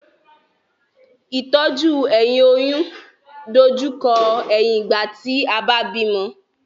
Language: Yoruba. Ìtọ́jú ẹ̀yìn oyún dojú kọ ẹ̀yìn ìgbà tí a bá bímọ